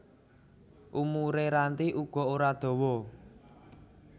Umure Ranti uga ora dawa